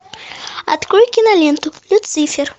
открой киноленту люцифер